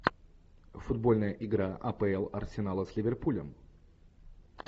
футбольная игра апл арсенала с ливерпулем